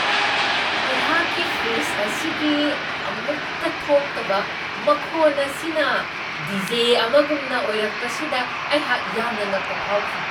ꯑꯩꯍꯥꯛꯀꯤ ꯐ꯭ꯔꯤꯖ ꯑꯁꯤꯒꯤ ꯑꯃꯨꯛꯇ ꯊꯣꯛꯇꯕ ꯃꯈꯣꯟ ꯑꯁꯤꯅ ꯗꯤ.ꯖꯦ. ꯑꯃꯒꯨꯝꯅ ꯑꯣꯏꯔꯛꯄꯁꯤꯗ ꯑꯩꯍꯥꯛ ꯌꯥꯝꯅ ꯉꯛꯄ ꯐꯥꯎꯈꯤ ꯫